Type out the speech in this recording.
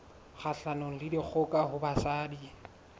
kgahlanong le dikgoka ho basadi